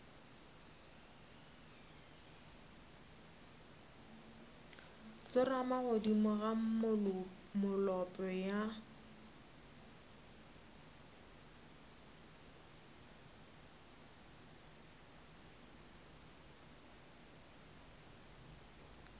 tsorama godimo ga molope ya